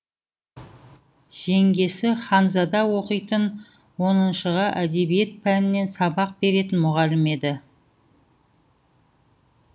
жеңгесі ханзада оқитын оныншыға әдебиет пәнінен сабақ беретін мұғалім еді